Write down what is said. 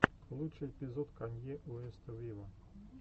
лучший эпизод канье уэста виво